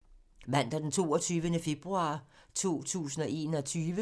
Mandag d. 22. februar 2021